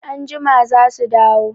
Anjima za su dawo.